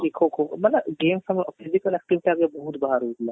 ଯେମିତି କି ଖୋ ଖୋ ମାନେ games ସବୁ physical activity ବହୁତ ବାହାରୁ ଥିଲା